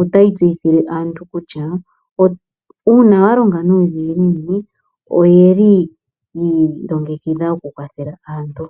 otayi tseyithile aantu kutya uuna wa longa nuudhiginini oyi longekidha oku kwathela aantu.